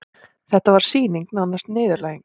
Þetta var sýning, nánast niðurlæging.